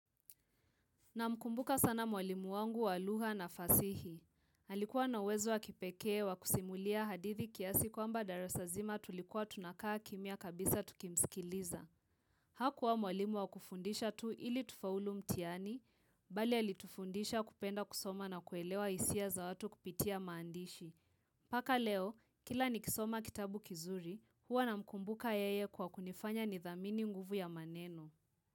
Na mkumbuka sana mwalimu wangu walugha na fasihi. Alikuwa nawezo wa kipekee wa kusimulia hadithi kiasi kwamba darasa nzima tulikuwa tunakaa kimya kabisa tukimsikiliza. Hakuwa mwalimu wa kufundisha tu ili tufaulu mtihani, bali alitufundisha kupenda kusoma na kuelewa isia za watu kupitia maandishi. Paka leo, kila ni kisoma kitabu kizuri, huwa namkumbuka yeye kwa kunifanya nidhamini nguvu ya maneno.